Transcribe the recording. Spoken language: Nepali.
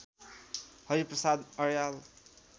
हरि प्रसाद अर्याल